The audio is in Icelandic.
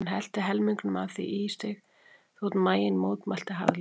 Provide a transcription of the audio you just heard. Hún hellti helmingnum af því í sig þótt maginn mótmælti harðlega.